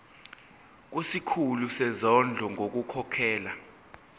kusikhulu sezondlo ngokukhokhela